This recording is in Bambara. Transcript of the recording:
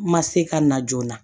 Ma se ka na joona